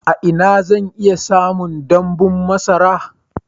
A ina zan iya samun damɓun masara?